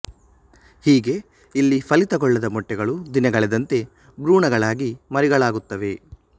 ಹೀಗೆ ಇಲ್ಲಿ ಫಲಿತಗೊಳ್ಳದ ಮೊಟ್ಟೆಗಳು ದಿನಗಳೆದಂತೆ ಬ್ರೂಣ ಗಳಾಗಿ ಮರಿಗಳಾಗುತ್ತವೆ